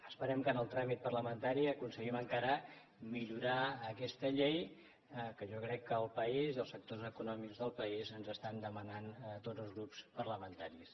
esperem que en el tràmit parlamentari aconseguim encara millorar aquesta llei que jo crec que el país i els sectors econòmics del país ens demanen a tots els grups parlamentaris